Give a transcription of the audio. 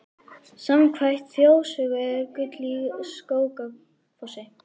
Samkvæmt þjóðsögu er gull í Skógafossi.